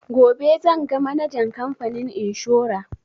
Gobe zan ga manajan kamfanin inshora